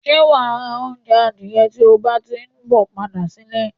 Sé wa ra ounje adìye ti o bá ti n bo padà nílé